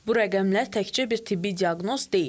Bu rəqəmlər təkcə bir tibbi diaqnoz deyil.